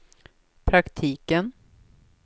praktiken